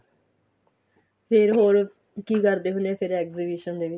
ਫ਼ੇਰ ਹੋਰ ਕੀ ਕਰਦੇ ਹੁਣੇ ਏ ਫ਼ੇਰ exhibition ਦੇ ਵਿੱਚ